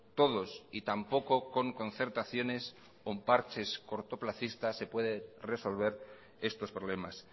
todos y tampoco con concertaciones con parches cortoplacistas se puede resolver estos problemas